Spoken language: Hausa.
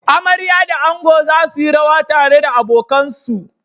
Amarya da ango za su yi rawa tare da abokansu.